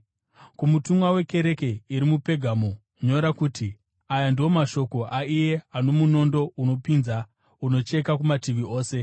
“Kumutumwa wekereke iri muPegamo nyora kuti: Aya ndiwo mashoko aiye ano munondo unopinza, unocheka kumativi ose.